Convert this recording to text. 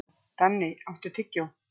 Danni, áttu tyggjó?